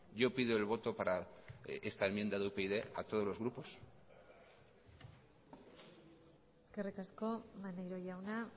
yo pido el voto para esta enmienda de upyd a todos los grupos eskerrik asko maneiro jauna